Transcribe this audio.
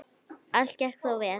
Allt gekk þó vel.